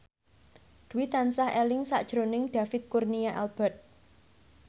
Dwi tansah eling sakjroning David Kurnia Albert